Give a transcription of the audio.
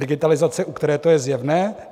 Digitalizace, u které je to zjevné?